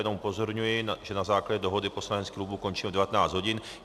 Jenom upozorňuji, že na základě dohody poslaneckých klubů končíme v 19 hodin.